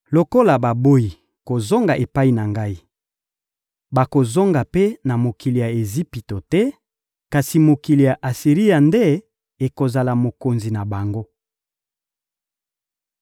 Lokola baboyi kozonga epai na Ngai, bakozonga mpe na mokili ya Ejipito te, kasi mokili ya Asiri nde ekozala mokonzi na bango.